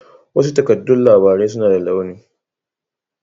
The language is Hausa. Wasu takardan labarai suna da launi